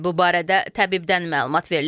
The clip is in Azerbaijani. Bu barədə təbibdən məlumat verilib.